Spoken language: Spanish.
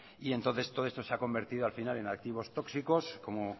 y entonces todo esto se ha convertido al final en activos tóxicos como